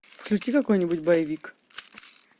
включи какой нибудь боевик